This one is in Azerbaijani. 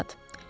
Bu saat?